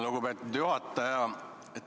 Lugupeetud juhataja!